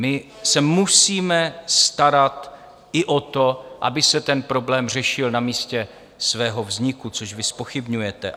My se musíme starat i o to, aby se ten problém řešil na místě svého vzniku, což vy zpochybňujete.